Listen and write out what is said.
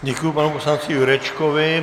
Děkuji panu poslanci Jurečkovi.